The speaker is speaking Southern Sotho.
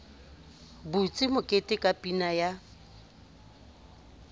butse mokete ka pina ya